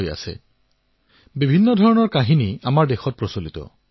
আমাৰ ইয়াত বিভিন্ন লোককথা প্ৰচলিত